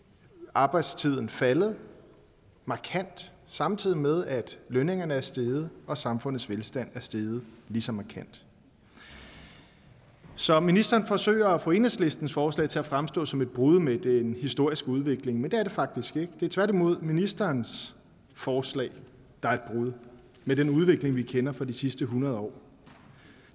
arbejdstiden faldet markant samtidig med at lønningerne er steget og samfundets velstand er steget lige så markant så ministeren forsøger at få enhedslistens forslag til at fremstå som et brud med den historiske udvikling men det er det faktisk ikke det er tværtimod ministerens forslag der er et brud med den udvikling vi kender fra de sidste hundrede år og